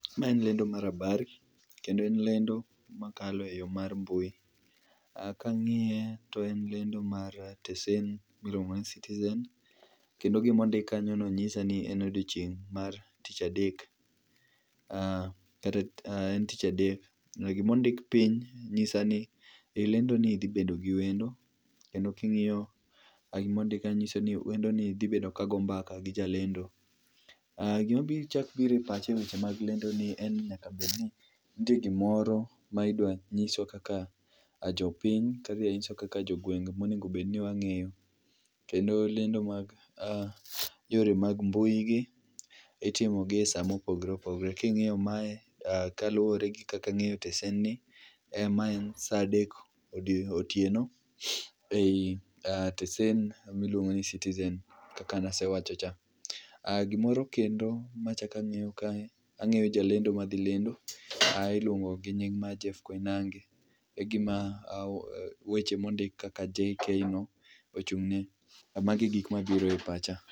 Ma en lendo mar habari kendo en lendo makalo e yo mar mbui, kangiye to en lendo mar tesend miluongo ni Citizen kendo gima ondik kanyo nyisani en odochieng mar tich adek kata en tich adek. Gima ondik piny nyisani e lendo ni dhi bedo gi wendo kendo kingiyo gima ondik nyisoni wendoni dhi bedo ka go mbaka gi jalendo. Gima chak biro e pacha e weche mag lendo ni en ni nyaka bedi ni nitie gimoro midwa nyiswa kaka jopiny, midwa nyiswa kaka jogweng ma onego obed ni wangiyo kendo lendo mar yore mag mbui giitimo e saa ma opogore opogore. Kingiyo mae kaluore kod kaka angeyo tesend ni, ma en saa adek otieno ei tesend miluongo ni Citizen kaka nasewache cha. Gimoro kendo machak angeyo kae, angeyo jalendo madhi lendo, iluongo gi nying mar Jeff Koinange, egima weche mondik kaka JK no, ochungne. Mago e gik mabiro e pacha